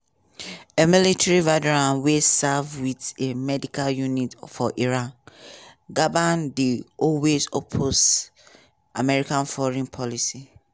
a military veteran wey serve wit a medical unit for iraq gabbard dey always oppose american foreign policy.